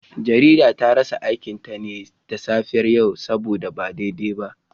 Jaridar ta rasa aikinta ne da safiyar yau saboda ba daidai ba